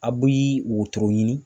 A bi wotoro ɲini